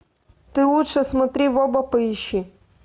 ты лучше смотри в оба поищи